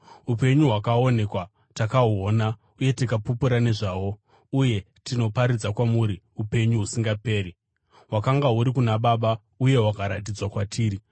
Upenyu hwakaonekwa; takahuona uye tikapupura nezvahwo, uye tinoparidza kwamuri upenyu husingaperi, hwakanga huri kuna Baba uye hwakaratidzwa kwatiri.